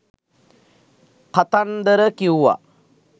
කතන්දර කිව්වා